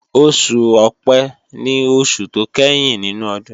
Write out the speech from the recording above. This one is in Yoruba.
Oṣù Ọ̀pẹ́ ni oṣù tó ìkẹyìn nínú ọdún